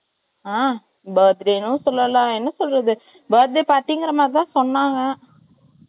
பர்த்டேன்னும் சொல்லலாம். என்ன சொல்றது? பர்த்டே பார்ட்டிங்கிற மாதிரி தான் சொன்னாங்க.